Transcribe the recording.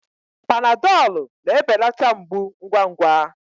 Panadọlụ na-ebelata mgbu ngwa ngwa.